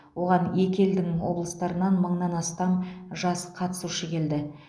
оған екі елдің облыстарынан мыңнан астам жас қатысушы келді